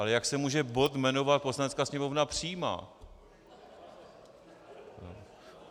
Ale jak se může bod jmenovat Poslanecká sněmovna přijímá...?